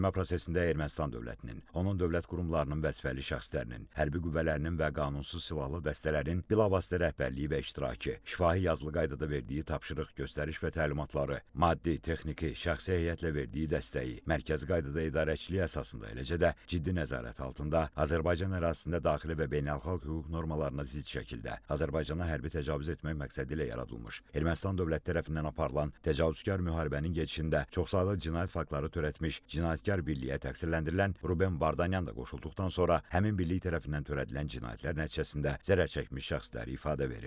Məhkəmə prosesində Ermənistan dövlətinin, onun dövlət qurumlarının vəzifəli şəxslərinin, hərbi qüvvələrinin və qanunsuz silahlı dəstələrin bilavasitə rəhbərliyi və iştirakı, şifahi-yazılı qaydada verdiyi tapşırıq, göstəriş və təlimatları, maddi, texniki, şəxsi heyətlə verdiyi dəstəyi, mərkəzi qaydada idarəçilik əsasında, eləcə də ciddi nəzarət altında Azərbaycan ərazisində daxili və beynəlxalq hüquq normalarına zidd şəkildə Azərbaycana hərbi təcavüz etmək məqsədi ilə yaradılmış, Ermənistan dövlət tərəfindən aparılan təcavüzkar müharibənin gedişində çoxsaylı cinayət faktları törətmiş cinayətkar birliyə təqsirləndirilən Ruben Vardanyan da qoşulduqdan sonra həmin birlik tərəfindən törədilən cinayətlər nəticəsində zərərçəkmişlər ifadə verir.